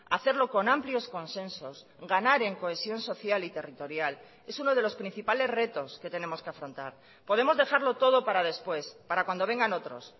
hacerlo con amplios consensos ganar en cohesión social y territorial es uno de los principales retos que tenemos que afrontar podemos dejarlo todo para después para cuando vengan otros